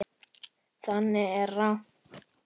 Það er rangt.